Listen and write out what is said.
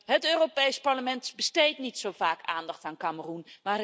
Het Europees Parlement besteedt niet zo vaak aandacht aan Kameroen.